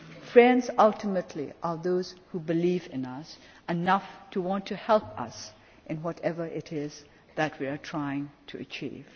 in us. Friends ultimately are those who believe in us enough to want to help us in whatever it is that we are trying to achieve.